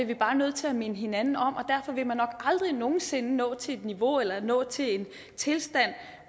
vi bare nødt til at minde hinanden om og derfor vil man nok aldrig nogen sinde nå til et niveau eller nå til en tilstand